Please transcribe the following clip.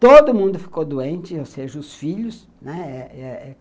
Todo mundo ficou doente, ou seja, os filhos, né. Eh eh